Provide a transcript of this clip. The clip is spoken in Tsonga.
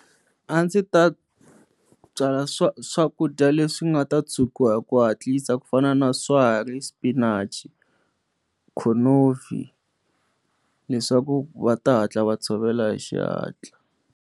A ndzi ta byala swa swakudya leswi nga ta chukiwa hi ku hatlisa ku fana na swa ri spinach khonovi leswaku va ta hatla va tshovela hi xihatla.